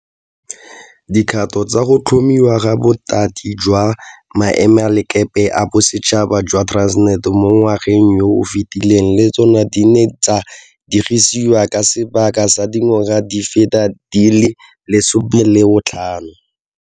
Dikgato tsa go tlhomiwa ga Bothati jwa Maemelakepe a Bosetšhaba jwa Transnet mo ngwageng yo o fetileng le tsona di ne tsa diegisiwa ka sebaka sa dingwaga di feta di le 15.